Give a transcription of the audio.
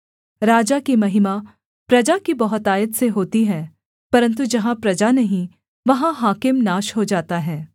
राजा की महिमा प्रजा की बहुतायत से होती है परन्तु जहाँ प्रजा नहीं वहाँ हाकिम नाश हो जाता है